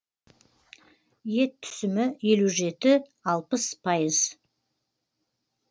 ет түсімі елу жеті алпыс пайыз